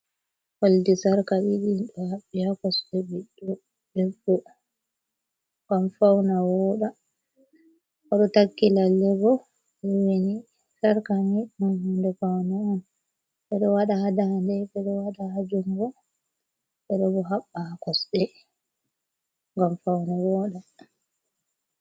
Oldi sarka ɗiḍi, do haɓɓi ha kosɗe ɓiɗɗo debbo ngam fauna woɗa, oɗo takki lallebo lowini sharka niɗon hunde faune on beɗo waḍa hadade, ɓeɗo waɗa ha jungo beɗo bo haɓɓa ha kosɗe ngam fauna woɗa.